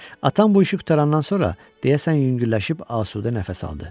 Atam bu işi qurtarandan sonra deyəsən yüngülləşib asudə nəfəs aldı.